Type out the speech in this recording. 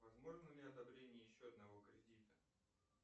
возможно ли одобрение еще одного кредита